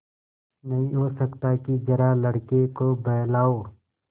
नहीं हो सकता कि जरा लड़के को बहलाओ